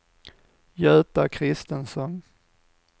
Göta Kristensson